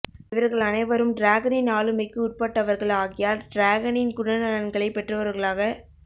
இவர்கள் அனைவரும் டிராகனின் ஆளுமைக்கு உட்பட்டவர்கள் ஆகையால் டிராகனின் குணநலன்களை பெற்றவர்களாக